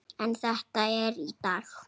En þetta er í dag.